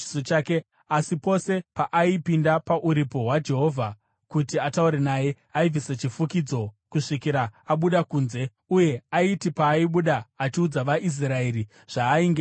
Asi pose paaipinda paKuvapo kwaJehovha kuti ataure naye, aibvisa chifukidzo kusvikira abuda kunze. Uye aiti paaibuda achiudza vaIsraeri zvaainge arayirwa,